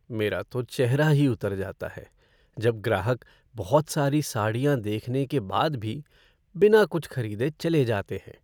मेरा तो चेहरा ही उतर जाता है जब ग्राहक बहुत सारी साड़ियाँ देखने के बाद भी बिना कुछ खरीदे चले जाते हैं।